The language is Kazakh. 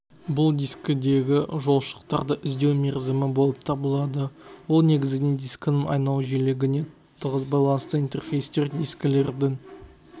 бұл дискідегі жолшықтарды іздеу мерзімі болып табылады ол негізінен дискінің айналу жиілігіне тығыз байланысты интерфейстер дискілердің